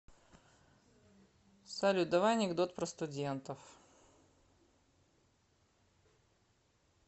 салют давай анекдот про студентов